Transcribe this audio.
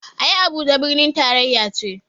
Ai Abuja birnin taraya ce